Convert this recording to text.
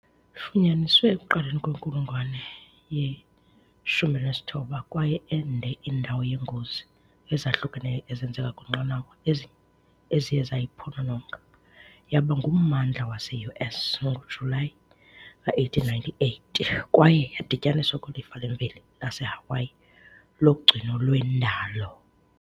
Ifunyaniswe ekuqaleni kwenkulungwane ye-19 kwaye ende indawo yeengozi ezahlukeneyo ezenzeke kwiinqanawa eziye zayiphonononga, yaba ngummandla wase-US ngoJulayi ka 1898 kwaye yadityaniswa kwilifa lemveli laseHawaii logcino lwendalo.